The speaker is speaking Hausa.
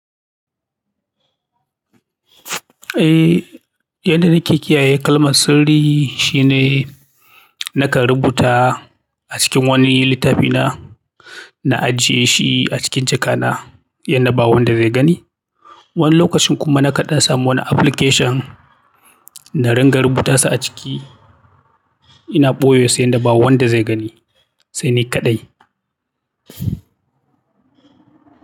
Eh, yadda nake kiyaye kalmar sirri shine nakan rubuta a cikin wani littafi na, na ajiye shi a cikin jaka na yadda ba wanda zai gani. Wani lokacin kuma na kaɗa samu wani application na rinka rubuta shi a ciki ina ɓoye sai yadda ba wanda zai gani. Sai ni kaɗai.